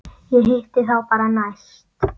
Ég hitti þá bara næst.